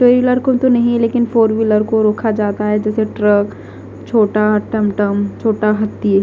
to wheeler को तो नहीं लेकिन फोर व्हीलर को रोजगार जाता है जैसे ट्रक छोटा टम टम छोटा हाथी--